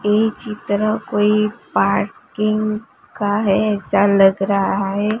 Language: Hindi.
ये चित्र कोई पार्किंग का है ऐसा लग रहा है।